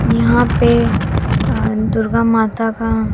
यहां पे अ दुर्गा माता का --